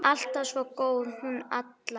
Alltaf svo góð, hún Alla.